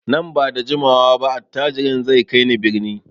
Nan ba da jimawa ba attajirin zai kai ni birni.